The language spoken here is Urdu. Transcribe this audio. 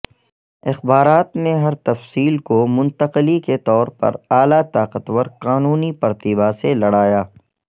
اخبارات نے ہر تفصیل کو منتقلی کے طور پر اعلی طاقتور قانونی پرتیبھا سے لڑایا